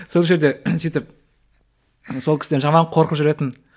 сол жерде сөйтіп сол кісіден жаман қорқып жүретінмін